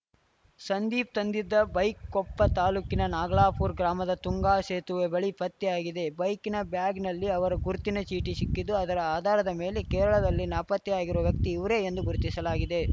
ಸಂದೀಪ್‌ ತಂದಿದ್ದ ಬೈಕ್‌ ಕೊಪ್ಪ ತಾಲೂಕಿನ ನಾಗಲಾಪುರ ಗ್ರಾಮದ ತುಂಗಾ ಸೇತುವೆ ಬಳಿ ಪತ್ತೆಯಾಗಿದೆ ಬೈಕಿನ ಬ್ಯಾಗ್‌ನಲ್ಲಿ ಅವರ ಗುರ್ತಿನ ಚೀಟಿ ಸಿಕ್ಕಿದ್ದು ಅದರ ಆಧಾರದ ಮೇಲೆ ಕೇರಳದಲ್ಲಿ ನಾಪತ್ತೆಯಾಗಿರುವ ವ್ಯಕ್ತಿ ಇವರೇ ಎಂದು ಗುರುತಿಸಲಾಗಿದೆ